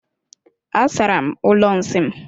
Asara m ụlọ nsị m.